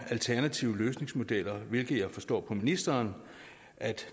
alternative løsningsmodeller hvilket jeg forstår på ministeren